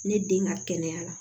Ne den ka kɛnɛyara